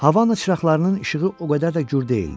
Havanın çıraqlarının işığı o qədər də gür deyildi.